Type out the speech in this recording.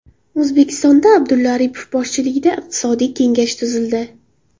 O‘zbekistonda Abdulla Aripov boshchiligida iqtisodiy kengash tuzildi.